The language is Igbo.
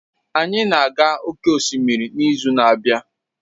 Anyị na-aga oke osimiri n'izu na-abịa